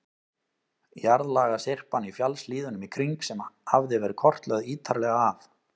Jarðlagasyrpan í fjallshlíðunum í kring, sem hafði verið kortlögð ítarlega af